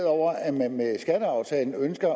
over at man med skatteaftalen ønsker